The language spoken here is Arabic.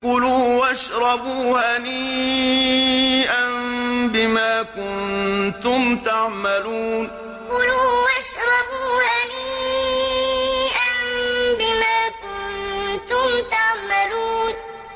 كُلُوا وَاشْرَبُوا هَنِيئًا بِمَا كُنتُمْ تَعْمَلُونَ كُلُوا وَاشْرَبُوا هَنِيئًا بِمَا كُنتُمْ تَعْمَلُونَ